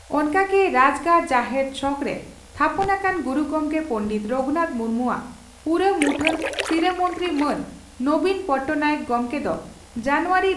ᱚᱱᱠᱟ ᱜᱮ ᱨᱟᱡᱽᱜᱟᱲ ᱡᱟᱦᱮᱨ ᱪᱷᱚᱠᱨᱮ ᱛᱷᱟᱯᱚᱱ ᱟᱠᱟᱱ ᱜᱩᱨᱩ ᱜᱚᱢᱠᱮ ᱯᱚᱸᱰᱮᱛ ᱨᱟᱹᱜᱷᱩᱱᱟᱛᱷ ᱢᱩᱨᱢᱩᱣᱟᱜ ᱯᱩᱨᱟᱹ ᱢᱩᱴᱷᱟᱹᱱ ᱥᱤᱨᱟᱹ ᱢᱚᱱᱛᱨᱤ ᱢᱟᱱ ᱱᱚᱵᱤᱱ ᱯᱚᱴᱱᱟᱭᱮᱠ ᱜᱚᱢᱠᱮ ᱫᱚ ᱡᱟᱱᱩᱣᱟᱨᱤ